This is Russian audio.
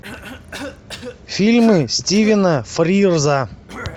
фильмы стивена фрирза